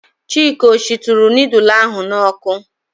Chika ọ shituru nudul ahụ n'ọkụ?